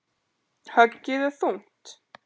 Höggið er þungt.